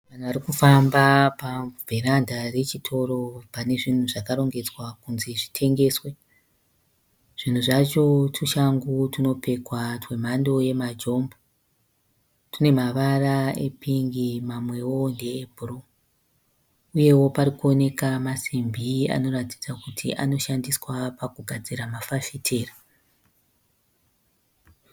Vanhu varikufamba pavheranda rechitoro pane zvinhu zvakarongedzwa kunzi zvitengeswe. Zvinhu zvacho tushangu tunopfekwa twemhando yemajombo. Tune mavara e pingi mamwewo ndeebhuruu . Uyewo parikuoneka masimbi anoratidza kuti anoshandiswa pakugadzira mafasitera.